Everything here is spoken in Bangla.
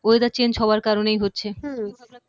weatherchange হওয়ার কারণেই হচ্ছে হম